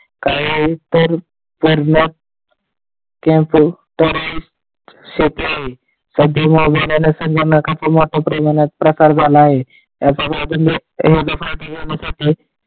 संगणकाचा वापर मोठ्या प्रमाणात झाला आहे .